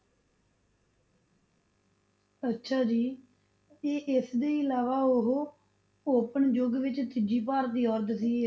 ਅੱਛਾ ਜੀ ਤੇ ਇਸ ਦੇ ਇਲਾਵਾ ਉਹ open ਯੁੱਗ ਵਿੱਚ ਤੀਜੀ ਭਾਰਤੀ ਔਰਤ ਸੀ